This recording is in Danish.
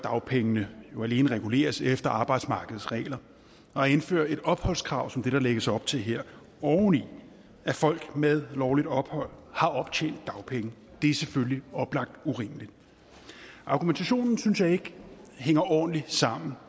dagpengene jo alene reguleres efter arbejdsmarkedets regler og at indføre et opholdskrav som det der lægges op til her oven i at folk med lovligt ophold har optjent dagpenge er selvfølgelig oplagt urimeligt argumentationen synes jeg ikke hænger ordentligt sammen